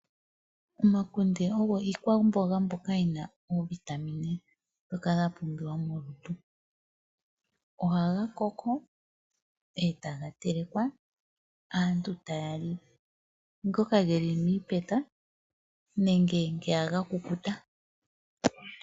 Omakunde ogo iikwamboga mbyoka yina oovitamine dhoka dha pumbiwa molutu. Oha ga koko etaga telekwa. Aantu taya li ngoka geli miipeta nenge ngoka ga kukuta.